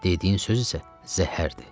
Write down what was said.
Dediyin söz isə zəhərdir.